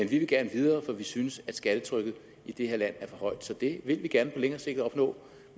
vi vil gerne videre for vi synes at skattetrykket i det her land er for højt så det vil vi gerne på længere sigt opnå